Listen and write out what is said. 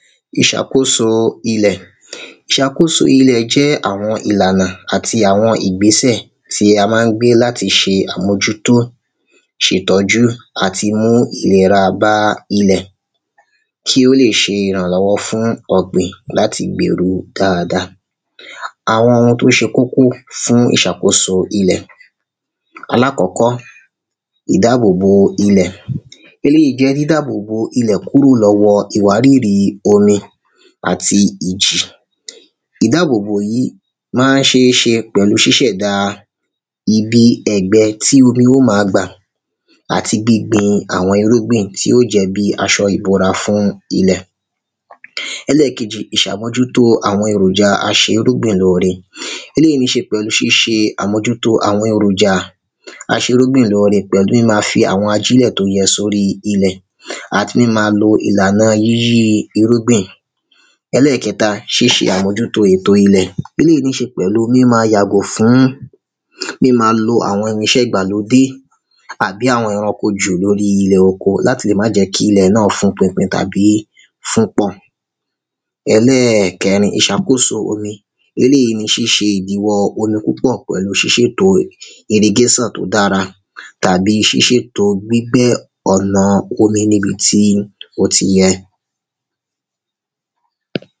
Ìṣàkóso ilẹ̀ Ìṣàkóso ilẹ̀ jẹ́ àwọn ìlànà àti àwọn ìgbésẹ̀ tí a má ń gbé láti ṣe àmójútó ṣètọ́jú àti mú ìlera bá ilẹ̀ kí ó lè ṣe ìrànlọ́wọ́ fún ọ̀gbìn láti gbèrú dáadáa Àwọn oun tó ṣe kókó fún ìṣàkóso ilẹ̀ Alákọ́kọ́ Ìdábò bo ilẹ̀ Eléyì jẹ́ dídabò bo ilẹ̀ kúrò lọ́wọ́ọ ìwárìrì omi àtì ìjì Ìdábòbò yìí má ń ṣeé ṣe pẹ̀lú ṣíṣẹ̀dá ibi ẹ̀gbẹ́ tí omi óò ma gbà àti gbí gbin àwọn irúgbìn tí óò jẹ́ bíi aṣo ìbora fún ilẹ̀ Ẹlẹ́èkejì Ìṣàmójútó àwọn èròjà a ṣe irúgbìn lóóre Eléyì níí ṣe pẹ̀lú ṣíṣe àmójútó àwọn èròjà aṣerúbìn lóóre pẹ̀lú n la fi àwọn ajílẹ̀ tó yẹ sóríi ilẹ̀ Àti míma lo ìlànà yíyí irúgbìn Ẹlẹ́ẹ̀kẹta Ṣíṣe àmójútó ètòo ilé Eléyì níí ṣe pẹ̀lú míma yàgò fún míma lo àwọn irinsẹ́ ìgbàlódé àbí àwọn ẹranko jù lóri ilẹ̀ oko láti lè má jẹ́ kí ilẹ̀ náà fún pinpin tàbí fún pọ̀ Ẹlẹ́ẹ̀kẹrin Ìṣàkóso omi Eléyì ni ṣíṣe ìdíwọ́ omi púpọ̀ pẹ̀lú ṣíṣètòo irigation tó dára tàbí ṣíṣètòo gbígbẹ́ ọ̀nà omi ní ibi tí ó ti yẹ